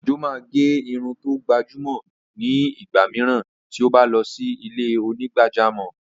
Ojo máa gẹ irun tó gbajúmọ̀ ni igba mìíràn tí ó bá lọ sí ilé onígbàjámọ̀.